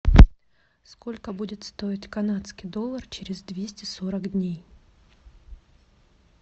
сколько будет стоить канадский доллар через двести сорок дней